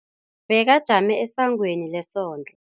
Bekajame esangweni lesonto.